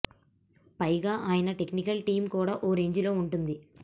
పైగా ఆయన technical team కూడా ఓ రేంజ్ లో వుంటుంది